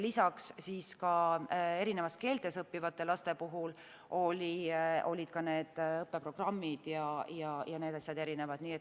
Lisaks erinevas keeles õppivate laste puhul olid ka õppeprogrammid ja need asjad erinevad.